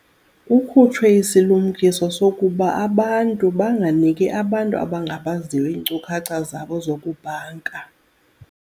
Kukhutshwe isilumkiso sokuba abantu banganiki abantu abangabaziyo iinkcukacha zabo zokubhanka.